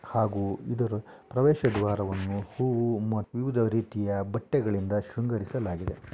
ಹಾಗೂ ಇದರ ಪ್ರವೇಶ ದ್ವಾರವನ್ನು ಹೂವು ವಿವಿಧ ರೀತಿಯ ಬಟ್ಟೆಗಳಿಂದ ಶೃಂಗರಿಸಲಾಗಿದೆ--